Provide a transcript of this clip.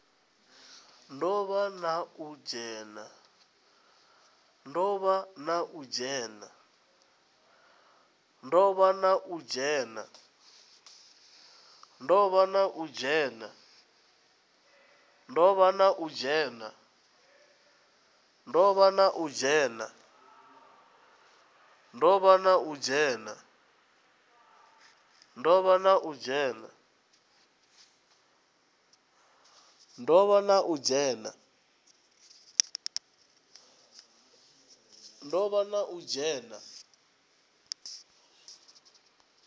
do vha na u dzhena